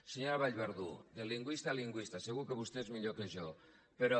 senyora vallverdú de lingüista a lingüista segur que vostè és millor que jo però